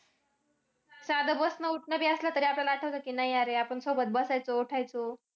साधं बसणं-उठणं बी असलं तरी आठवतं की नाही अरे आपण सोबत बसायचो, उठायचो